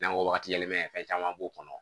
N'an ko wagati yɛlɛma fɛn caman b'o kɔnɔ